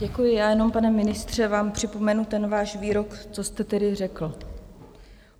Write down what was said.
Děkuji, já jenom, pane ministře, vám připomenu ten váš výrok, co jste tedy řekl.